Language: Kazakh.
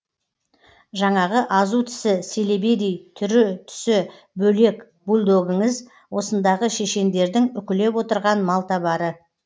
жаңағы азу тісі селебедей түрі түсі бөлек бульдогіңіз осындағы шешендердің үкілеп отырған малтабары